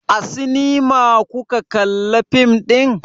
A sinima kuka kalla fim ɗin?